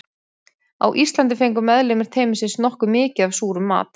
Á Íslandi fengu meðlimir teymisins nokkuð mikið af súrum mat.